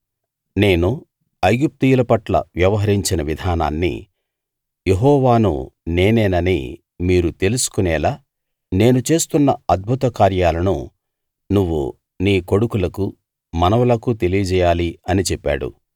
నేను ఐగుప్తీయుల పట్ల వ్యవహరించిన విధానాన్ని యెహోవాను నేనేనని మీరు తెలుసుకొనేలా నేను చేస్తున్న అద్భుత కార్యాలను నువ్వు నీ కొడుకులకూ మనవలకూ తెలియజేయాలి అని చెప్పాడు